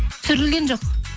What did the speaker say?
түсірілген жоқ